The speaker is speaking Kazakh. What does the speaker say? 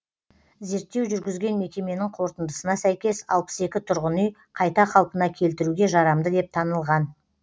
зерттеу жүргізген мекеменің қорытындысына сәйкес алпыс екі тұрғын үй қайта қалпына келтіруге жарамды деп танылған